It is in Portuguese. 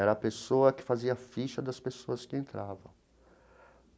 Era a pessoa que fazia a ficha das pessoas que entravam.